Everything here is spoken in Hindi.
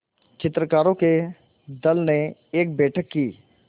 चित्रकारों के दल ने एक बैठक की